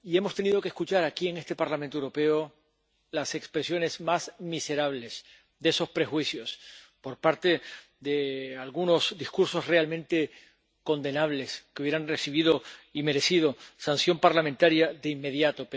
Y hemos tenido que escuchar aquí, en este Parlamento Europeo, las expresiones más miserables de esos prejuicios por parte de algunos discursos realmente condenables que hubieran recibido y merecido sanción parlamentaria de inmediato.